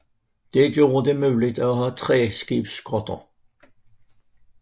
Dette gjorde det muligt at have tværskibsskotter